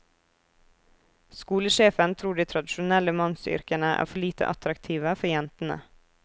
Skolesjefen tror de tradisjonelle mannsyrkene er for lite attraktive for jentene.